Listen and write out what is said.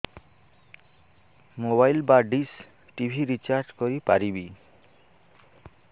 mobile ବା dish TV recharge କରି ପାରିବି